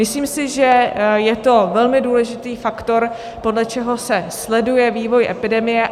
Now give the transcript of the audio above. Myslím si, že je to velmi důležitý faktor, podle čeho se sleduje vývoj epidemie.